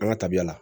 An ka tabiya la